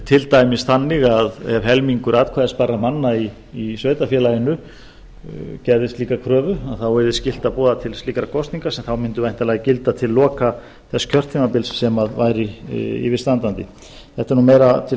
til dæmis þannig að ef helmingur atkvæðisbærra manna í sveitarfélaginu gerði slíka kröfu þá yrði skylt að boða til slíkra kosninga sem þá mundu væntanlega gilda til loka þess kjörtímabils sem væri yfirstandandi þetta er nú meira til